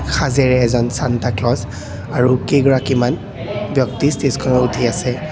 সাজেৰে এজন Santa Claus আৰু কেইগৰাকীমান ব্যক্তি ষ্টেজখনত উঠি আছে।